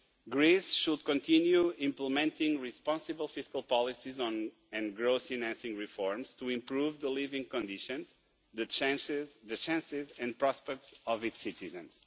Greece should continue implementing responsible fiscal policies and growth-enacting reforms to improve the living conditions and the chances and prospects of its citizens.